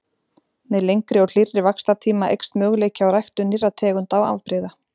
Með lengri og hlýrri vaxtartíma eykst möguleiki á ræktun nýrra tegunda og afbrigða.